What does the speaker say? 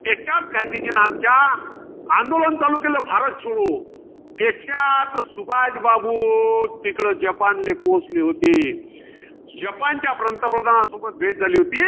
त्याच्यात, गांधीजीन आमच्या आंदोलन चालू केलं. भारत छोडो. त्याच्यात सुभाषबाबू तिकडं जपानले पोहोचले होते. जपानच्या पंतप्रधान सोबत भेट झाली होती.